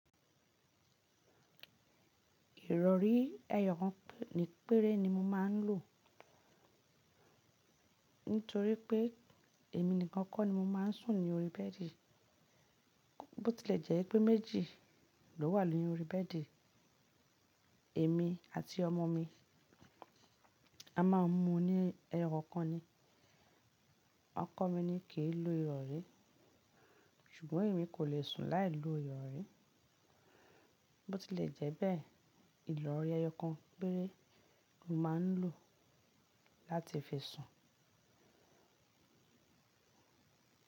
Ìrọ̀rí ẹyọ kan péré ni mo máa ń lò. Nítorí pé èmi nìkan kọ́ ni mo máa ń sùn ní orí bẹ́ẹ̀dì. Bó ti lè jẹ́ pé méjì ló wà ni orí bẹ́ẹ̀dì, èmi àti ọmọ mi, a máa ń mu ní ẹyọ kankan ni. Ọkọ mi ní kìí lo ìrọ̀rí, ṣùgbọ́n èmi kò lè sùn láì lo ìrọ̀rí. Bo ti lè jẹ́ bẹ́ẹ̀, ìrọ̀rí ẹyọ kan péré mo máa ń lò láti fi sùn.